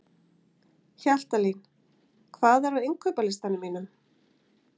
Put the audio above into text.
Hjaltalín, hvað er á innkaupalistanum mínum?